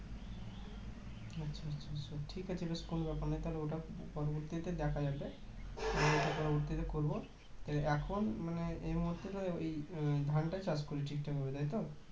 ঠিক আছে . কোনো ব্যাপার নয় তাহলে ওটা পরবর্তীতে দেখা যাবে ওটা পরবর্তীতে করবো এখন এই মুহুর্তে তো ওই ধানটাই চাষ করি ঠিকঠাক ভেবে তাই তো